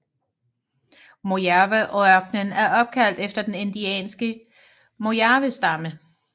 Mojaveørkenen er opkaldt efter den indianske Mojavestamme